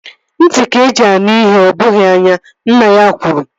Ntị ka-eji anụ ihe ọ bụghị anya. Nne ya gwara ya